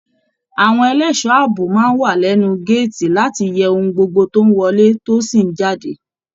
Àwọn ẹlẹṣọ ààbò máa n wà lẹnu gàátí láti yẹ ohùn gbogbo tó n wọlé tó sì n jáde.